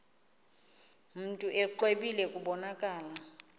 mntu exwebile kubonakala